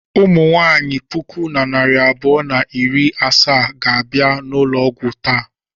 Ụmụ nwaanyị puku na narị abụọ na iri asaa ga-abịa ụlọ ọgwụ taa.